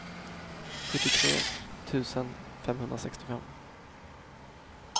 sjuttiotre tusen femhundrasextiofem